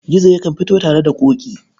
Gizo yakan fito tare da Ƙoƙi.